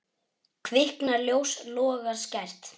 Kviknar ljós, logar skært.